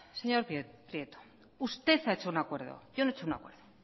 señor prieto usted ha hecho un acuerdo yo no he hecho un acuerdo